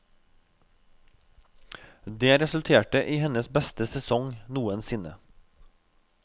Det resulterte i hennes beste sesong noensinne.